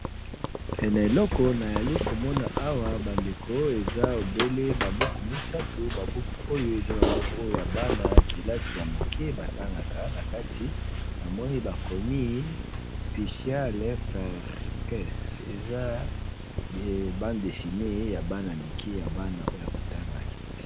Na eleko na zali ko mona awa ba ndeko eza obele ba buku misatu, Ba buku oyo eza ba buku oyo ya bana kelasi ya moke ba tangaka, na kati na moni bakomi special farces, eza bande dessinée ya bana mike, ya bana oyo ya ko tanga na kelasi .